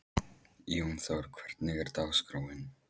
Jónþór, hvernig er dagskráin?